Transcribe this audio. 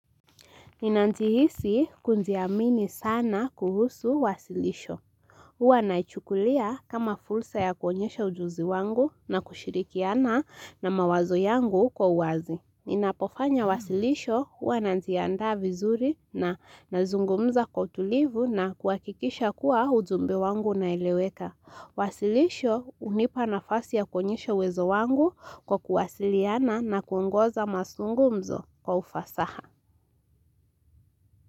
Ninajihisi kujiamini sana kuhusu wasilisho. Uwa naichukulia kama fursa ya kuonyesha ujuzi wangu na kushirikiana na mawazo yangu kwa uwazi. Ninapofanya wasilisho uwa najianda vizuri na nazungumza kwa tulivu na kuwakikisha kuwa ujumbe wangu na uneleweka. Wasilisho hunipa nafasi ya kuonyesha uwezo wangu kwa kuwasiliana na kuongoza mazungumzo kwa ufasaha.